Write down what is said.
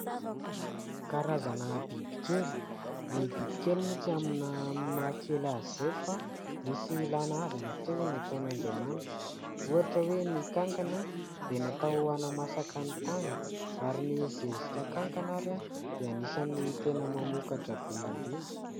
Karazana bibikely. Ny bibikely moa tsy amin'ny mahakely azy izay fa misy ilana azy matoa nataon'Andriamanitra. Ohatra hoe ny kankana dia natao anamasaka ny tany ary ny zezika kankana ary dia anisan'ny tena mamokatra be indrindra.